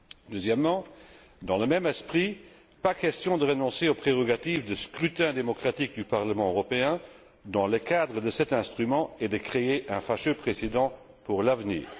Deuxièmement dans le même esprit, pas question de renoncer aux prérogatives de scrutin démocratique du Parlement européen dans le cadre de cet instrument et de créer un fâcheux précédent pour l'avenir.